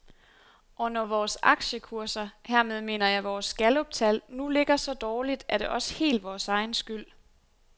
Og når vores aktiekurser, hermed mener jeg vores galluptal, nu ligger så dårligt, er det også helt vores egen skyld.